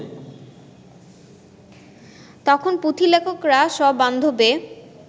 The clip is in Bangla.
তখন পুঁথিলেখকেরা সবান্ধবে